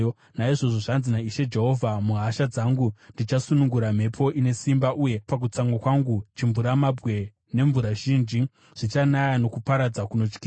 “ ‘Naizvozvo zvanzi naIshe Jehovha: Muhasha dzangu ndichasunungura mhepo ine simba, uye pakutsamwa kwangu chimvuramabwe nemvura zhinji zvichanaya nokuparadza kunotyisa.